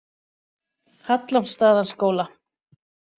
Hallormsstaðaskóla